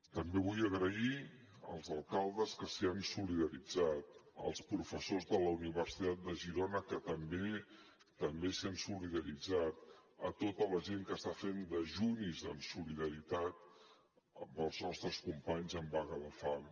també vull donar les gràcies als alcaldes que s’hi han solidaritzat als professors de la universitat de girona que també s’hi han solidaritzat a tota la gent que està fent dejunis en solidaritat amb els nostres companys en vaga de fam